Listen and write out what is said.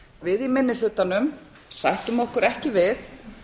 við í minnihlutanum sættum okkur ekki við